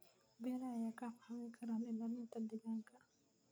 Beeraha ayaa kaa caawin kara ilaalinta deegaanka.